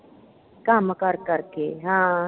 ਕੰਮ ਕਰ ਕਰ ਕੇ। ਹਾਂ